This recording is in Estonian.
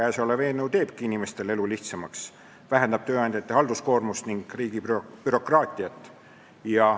Eelnõu teebki inimeste elu lihtsamaks, ta vähendab tööandjate halduskoormust ning riigi bürokraatiat.